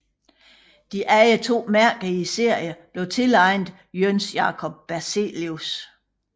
De andre to mærker i serien blev tilegnet Jöns Jacob Berzelius